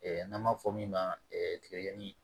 n'an b'a fɔ min ma tigɛdigɛni